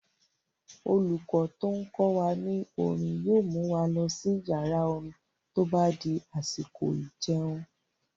Olùkọ́ tó n kọ wa ní orin yóò mu wa lọ sí yàrá-orin tó bá di àsìkò ìjẹun